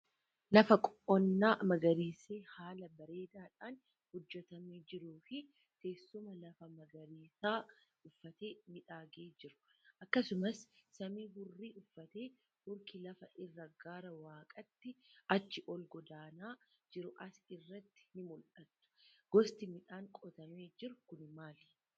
Lafa qonnaa magariisee haala bareedaa dhaan hojjetamee jiruu fi teessuma lafaa magariisa uffatee miidhagee jiru. Akkasumas samii hurrii uffatee hurki lafa irraa gara waaqaatti achi ol godaanaa jiru as irratti ni mul'atu. Gosti midhaan qotamee jiruu kun maali?